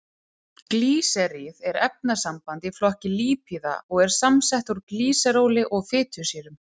Glýseríð er efnasamband í flokki lípíða og er samsett úr glýseróli og fitusýrum.